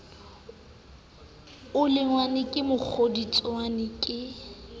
o lonngwe ke mokgodutswane ke